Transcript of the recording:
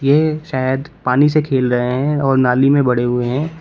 ये शायद पानी से खेल रहे हैं और नाली में बड़े हुए हैं।